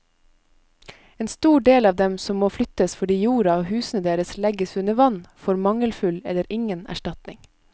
En stor del av dem som må flyttes fordi jorda og husene deres legges under vann, får mangelfull eller ingen erstatning.